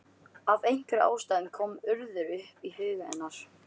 Af einhverjum ástæðum kom Urður upp í huga hennar.